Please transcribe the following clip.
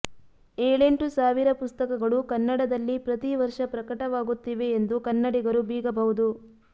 ಏಳೆಂಟು ಸಾವಿರ ಪುಸ್ತಕಗಳು ಕನ್ನಡದಲ್ಲಿ ಪ್ರತಿವರ್ಷ ಪ್ರಕಟವಾಗುತ್ತಿವೆ ಎಂದು ಕನ್ನಡಿಗರು ಬೀಗಬಹುದು